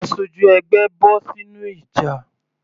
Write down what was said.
Aṣojú ẹgbẹ́ bọ́ sínú ìjà.